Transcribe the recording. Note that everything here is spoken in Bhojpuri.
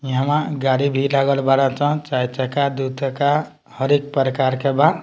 यहाँ गाड़ी भी लागल बाड़न स चार-चक्का दू चक्का हर एक प्रकार के बा।